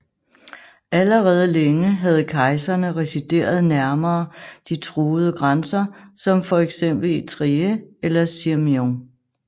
Allerede længe havde kejserne resideret nærmere de truede grænser som for eksempel i Trier eller Sirmium